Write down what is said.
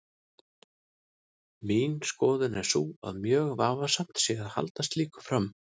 Mín skoðun er sú að mjög vafasamt sé að halda slíku fram.